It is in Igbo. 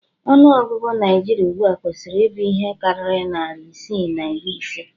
Ọnụ ọgụgụ Naijiria ugbua kwesiri ibụ ihe karịrị narị isii na iri ise